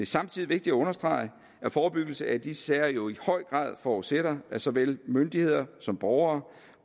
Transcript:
samtidig vigtigt at understrege at forebyggelse af disse sager jo i høj grad forudsætter at såvel myndigheder som borgere